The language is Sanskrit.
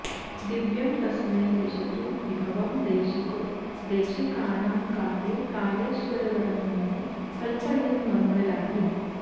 दिव्यं तस्मै दिशतु विभवं देशिको देशिकानां काले कालेश्वरवरमुनिः कल्पयन्मङ्गलानि